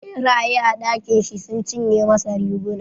Ɓeraye a dakin shi sun cinye masa riguna.